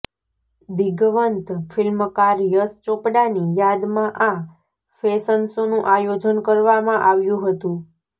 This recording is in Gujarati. દિવંગત ફિલ્મકાર યશ ચોપડાની યાદમાં આ ફેશન શોનુ આયોજન કરવામાં આવ્યુ હતુ